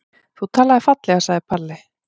Þú talaðir fallega, sagði Palli.